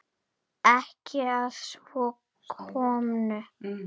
Ekki að svo komnu.